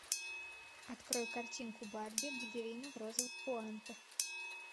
открой картинку барби балерина в розовых пуантах